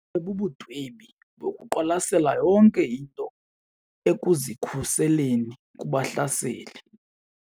Bubundwebi bokuqwalasela yonke into ekuzikhuseleni kubahlaseli.